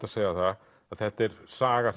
að segja að þetta er saga